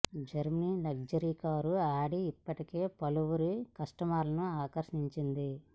Germany luxury car Audi ఇప్పటికే పలువురు కస్టమర్లను ఆకర్షిం చింది